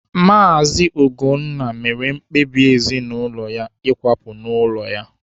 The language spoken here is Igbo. Maazi Ugonna mere mkpebi ezinụlọ ya ịkwapụ n'ụlọ ya.